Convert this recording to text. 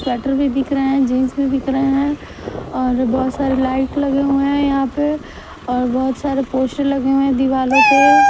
Sweater भी बिक रहे हैं जींस भी बिक रहे हैं और बहुत सारे लाइट लगे हुए हैं यहां पे और बहुत सारे पोस्टर लगे हुए हैं दीवालों पे।